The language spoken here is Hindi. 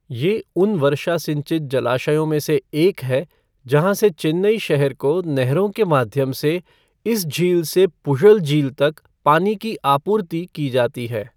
ये उन वर्षा सिंचित जलाशयों में से एक है जहाँ से चेन्नई शहर को नहरों के माध्यम से इस झील से पुझल झील तक पानी की आपूर्ति की जाती है।